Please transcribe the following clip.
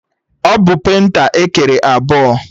Ọ bụ penta ekere ebọ?